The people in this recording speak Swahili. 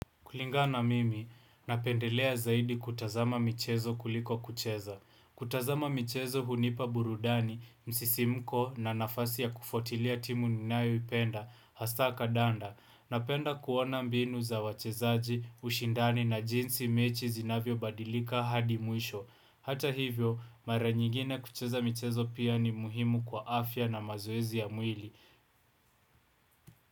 Kulingana na mimi, napendelea zaidi kutazama michezo kuliko kucheza. Kutazama michezo hunipa burudani, msisimko na nafasi ya kufuatilia timu ninayoipenda, hasaa kadanda. Napenda kuona mbinu za wachezaji, ushindani na jinsi mechi zinavyobadilika hadi muisho. Hata hivyo, mara nyigine kucheza michezo pia ni muhimu kwa afya na mazoezi ya mwili.